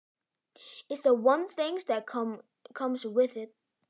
Það er eitt af því sem fylgir gelgjuskeiðinu.